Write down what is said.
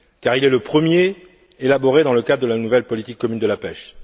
Il est le premier élaboré dans le cadre de la nouvelle politique commune de la pêche.